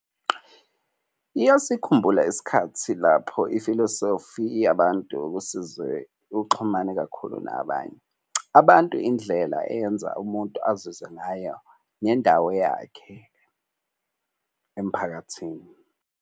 Iyasikhumbula isikhathi lapho ifilosofi yabantu kusize uxhumane kakhulu nabanye. Abantu indlela eyenza umuntu azizwe ngayo nendawo yakhe emphakathini.